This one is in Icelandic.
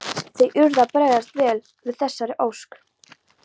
Þeir urðu að bregðast vel við þessari ósk.